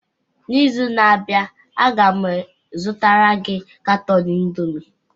N'izu na-abịa, a ga m azụtara gị katọn indomi